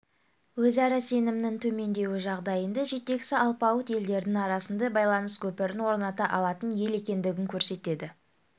өзара сенімнің төмендеуі жағдайында жетекші алпауыт елдердің арасында байланыс көпірін орната алатын ел екендігін көрсетеді